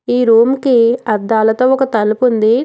ఈ రూమ్ కి అద్దాలతో ఒక తలుపుంది.